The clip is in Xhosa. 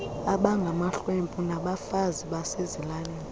abangamahlwempu nabafazi basezilalini